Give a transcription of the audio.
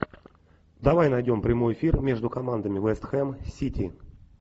давай найдем прямой эфир между командами вест хэм сити